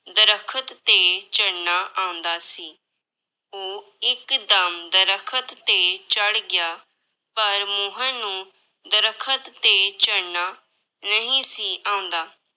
ਦਰੱਖਤ ਤੇ ਚੜ੍ਹਨਾ ਆਉਂਦਾ ਸੀ, ਉਹ ਇੱਕਦਮ ਦਰੱਖਤ ਤੇ ਚੜ੍ਹ ਗਿਆ, ਪਰ ਮੋਹਨ ਨੂੰ ਦਰੱਖਤ ਤੇ ਚੜ੍ਹਨਾ ਨਹੀਂ ਸੀ ਆਉਂਦਾ।